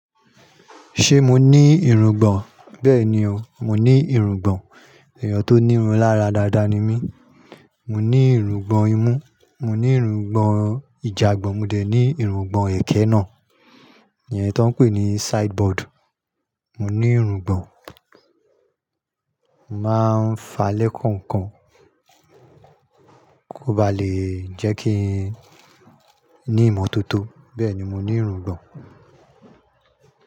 Ṣé mo ní irungbọ̀n? Bẹ́ẹ̀ni o, mo ní irungbọ̀n. Èèyàn tó ní irun lára dáadáa ni mí. Mo ní irungbọ̀n imú, mo ní irungbọ̀n ìjàgbọ́n, mo dẹ̀ ní irungbọ̀n èké náà, èyí tó ń pè ní sideboard. Mọ ní irungbọ̀n, màá ń fa lẹ́kànkan kó ba lè jẹ́ kí n ní ìmọ́tótó. Bẹ́ẹ̀ni, mo ní irungbọ̀n.